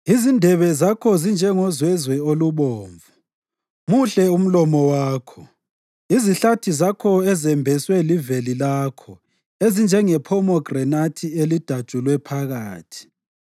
Izindebe zakho zinjengozwezwe olubomvu; muhle umlomo wakho. Izihlathi zakho ezembeswe liveli lakho ezinjengephomegranathi elidatshulwe phakathi.